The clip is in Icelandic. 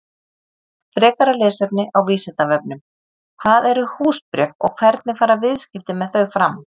Frekara lesefni á Vísindavefnum: Hvað eru húsbréf og hvernig fara viðskipti með þau fram?